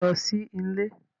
Beeni, o rin lo si ile